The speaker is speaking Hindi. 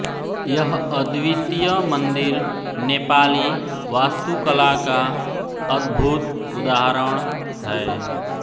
यह अद्वितीय मंदिर नेपाली वास्तुकला का अद्भुत उदाहरण है